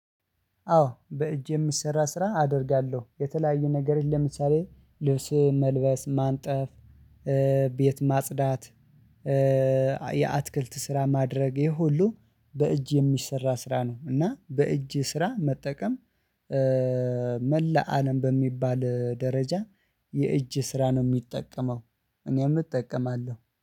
አዎ በእጅ የሚሰራ ስራ አደርጋለሁ የተለያዩ ነገሮች ለምሳሌ ልብስ መልበስ ማንጠፍ ቤት ማጽዳት። የአትክልት ስራ ማድረግ ይሄ ሁሉ በእጅ የሚሰራ ስራ ነው። እና በእጅ ስራ መጠቀም። መላ አለም በሚባል ደረጃ የእጅ ስራ ነው የሚጠቀመው። እኔም እጠቀማለሁ